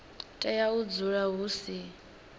tea u dzula hu si